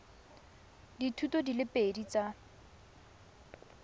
dithuto di le pedi tsa